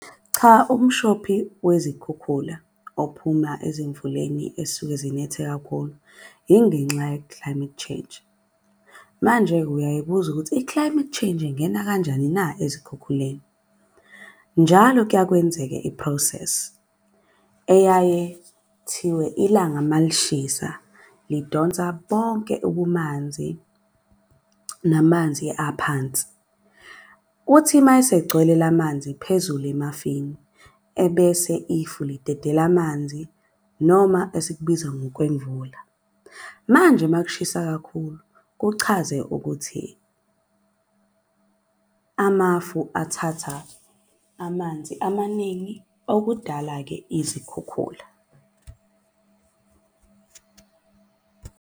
Cha, umshophi wezikhukhula ophuma ezimvuleni esuke zinethe kakhulu, ingenxa ye-climate change. Manje-ke uyay'buza ukuthi i-climate change ingena kanjani na ezikhukhuleni? Njalo kuya kwenzeke i-process eyaye thiwe ilanga malishisa lidonsa bonke ubumanzi namanzi aphansi. Uthi mayesegcwele la manzi phezulu emafini. Ebese ifu lidedela amanzi noma esikubiza ngokwemvula. Manje makushisa kakhulu kuchaze ukuthi amafu athatha amanzi amaningi, okudala-ke izikhukhula.